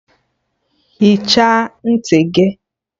Hichaa ntị gị!